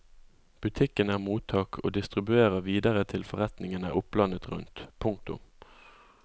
Butikken er mottak og distribuerer videre til forretningene opplandet rundt. punktum